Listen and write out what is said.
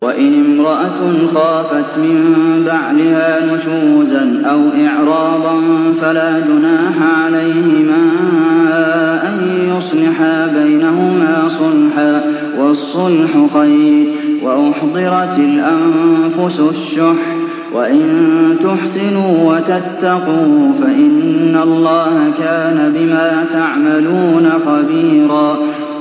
وَإِنِ امْرَأَةٌ خَافَتْ مِن بَعْلِهَا نُشُوزًا أَوْ إِعْرَاضًا فَلَا جُنَاحَ عَلَيْهِمَا أَن يُصْلِحَا بَيْنَهُمَا صُلْحًا ۚ وَالصُّلْحُ خَيْرٌ ۗ وَأُحْضِرَتِ الْأَنفُسُ الشُّحَّ ۚ وَإِن تُحْسِنُوا وَتَتَّقُوا فَإِنَّ اللَّهَ كَانَ بِمَا تَعْمَلُونَ خَبِيرًا